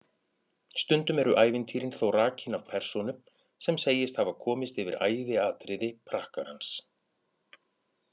Stundum eru ævintýrin þó rakin af persónu sem segist hafa komist yfir æviatriði prakkarans.